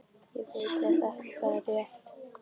Ég veit að þetta er rétt.